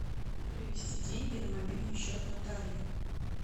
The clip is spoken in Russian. перевести деньги на мобильный счет натальи